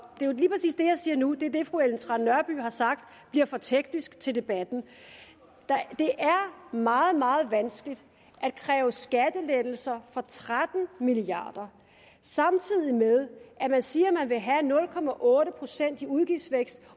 siger nu er det fru ellen trane nørby har sagt bliver for teknisk til debatten det er meget meget vanskeligt at kræve skattelettelser for tretten milliard kr samtidig med at man siger at man vil have nul procent i udgiftsvækst